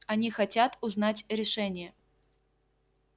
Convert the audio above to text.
они хотят узнать решение